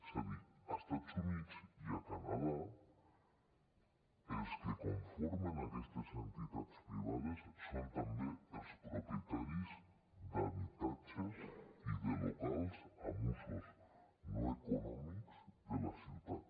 és a dir a estats units i a canadà els que conformen aquestes entitats privades són també els propietaris d’habitatges i de locals amb usos no econòmics de la ciutat